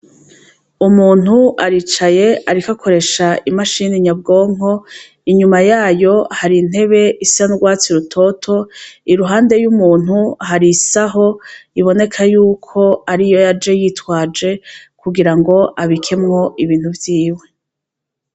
Umuntu aricaye ariko akoresha imashini nyabwonko, inyuma yayo hari intebe isa n' ugwatsi rutoto, iruhande y' umuntu hari isaho iboneka yuko ariyo yaje, yitwaje kugira ngo abikemwo ibintu vyiwe.